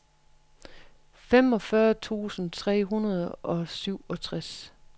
femogfyrre tusind tre hundrede og syvogtres